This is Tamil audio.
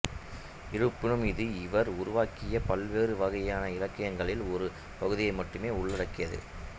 இருப்பினும் இது இவர் உருவாக்கிய பல்வேறு வகையான இலக்கியங்களின் ஒரு பகுதியை மட்டுமே உள்ளடக்கியது